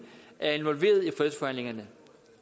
er involveret i fredsforhandlingerne